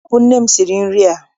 Eé, ọ bụ nne m siri nri a.